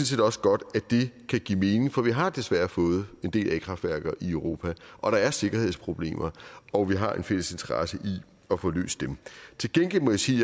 set også godt kan give mening for vi har desværre fået en del a kraftværker i europa og der er sikkerhedsproblemer og vi har en fælles interesse i at få løst dem til gengæld må jeg sige